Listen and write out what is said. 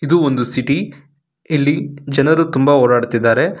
ಇದು ಒಂದು ಸಿಟಿ ಇಲ್ಲಿ ಜನರು ತುಂಬಾ ಓಡಾಡುತ್ತಿದ್ದಾರೆ.